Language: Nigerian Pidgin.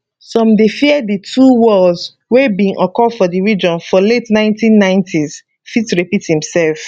some dey fear di two wars wey bin occur for di region for late 1990s fit repeat imsef